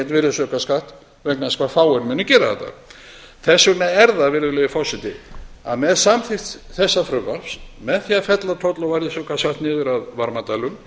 virðisaukaskatt vegna þess hve fáir munu gera þetta þess vegna er það virðulegi forseti að með samþykkt þessa frumvarps með því að fella toll og virðisaukaskatt niður af varmadælum